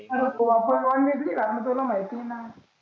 आरे भो आपण नॉनव्हेज नाही खात ना तुला माहिती आहेना.